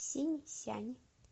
синьсян